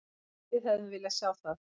Við hefðum viljað sjá það.